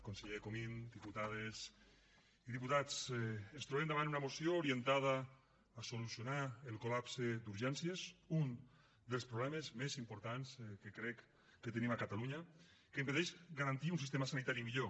conseller comín diputades i diputats ens trobem davant una moció orientada a solucionar el col·lapse d’urgències un dels problemes més importants que crec que tenim a catalunya que impedeix garantir un sistema sanitari millor